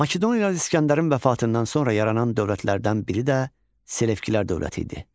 Makedoniyalı İsgəndərin vəfatından sonra yaranan dövlətlərdən biri də Selevkilər dövləti idi.